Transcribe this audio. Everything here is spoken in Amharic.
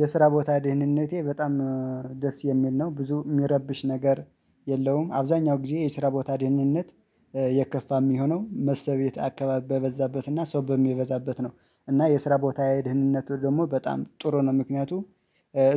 የስራ ቦታ ደህንነቴ በጣም ደስ የሚል ነው ብዙ የሚረብሽ ነገር የለውም። አብዛኛው ጊዜ የስራ ቦታ ደህንነት የከፋ የሚሆነው መስተቤት አካባቢ በበዛበትና ሰው በሚበዛበት ነው። እና የስራ ቦታ ደህንነቱ ደግሞ በጣም ጥሩ ነው። ምክንያቱም